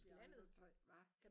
Jeg er nødt til hvad?